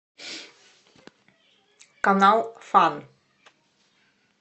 канал фан